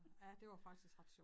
Ja det var faktisk ret sjovt